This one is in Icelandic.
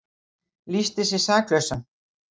Lýsti sig saklausan